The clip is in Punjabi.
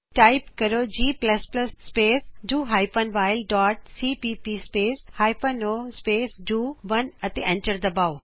ਟਾਇਪ ਕਰੋ G plus plus space do hyphen while dot C P P space hyphen O space do 1 G space do hyphen while dot C P P space hyphen O space do 1 ਅਤੇ ਐਂਟਰ ਦਬਾਓ